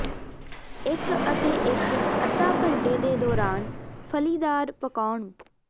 ਇੱਕ ਅਤੇ ਇੱਕ ਅੱਧਾ ਘੰਟੇ ਦੇ ਦੌਰਾਨ ਫਲ਼ੀਦਾਰ ਪਕਾਉਣ